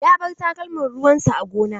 Ya bar takalman ruwan sa a gona.